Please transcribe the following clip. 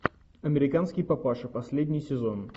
американский папаша последний сезон